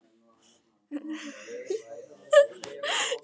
Vébjörn, hvernig verður veðrið á morgun?